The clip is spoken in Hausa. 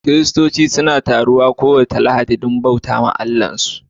Kiristoci suna taruwa kowace Lahadi don su bauta wa Allahnsu